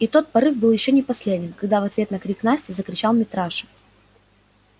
и тот порыв был ещё не последним когда в ответ на крик насти закричал митраша